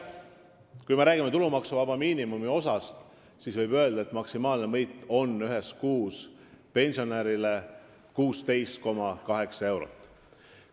Kui me räägime tulumaksuvaba miinimumi osast, siis võib öelda, et maksimaalne võit on pensionärile 16,8 eurot kuus.